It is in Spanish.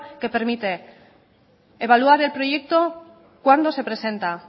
que permite evaluar el proyecto cuando se presenta